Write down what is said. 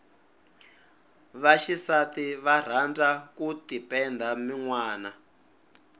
va xisati va rhandza ku tipenda minwana